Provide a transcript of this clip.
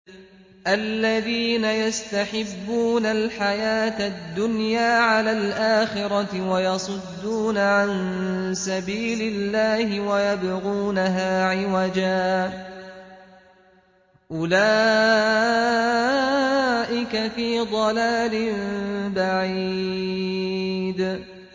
الَّذِينَ يَسْتَحِبُّونَ الْحَيَاةَ الدُّنْيَا عَلَى الْآخِرَةِ وَيَصُدُّونَ عَن سَبِيلِ اللَّهِ وَيَبْغُونَهَا عِوَجًا ۚ أُولَٰئِكَ فِي ضَلَالٍ بَعِيدٍ